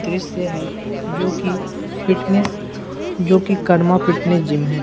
दृश्य है जो कि फिटनेस जो कि करमा फिटनेस जीम है।